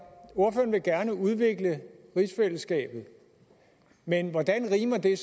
ordføreren vil gerne udvikle rigsfællesskabet men hvordan rimer det